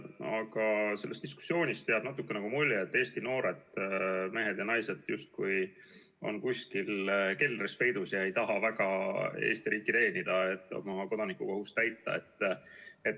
Aga sellest diskussioonist jääb natukene nagu mulje, et Eesti noored mehed ja naised on justkui kuskil keldris peidus ega taha väga Eesti riiki teenida, oma kodanikukohust täita.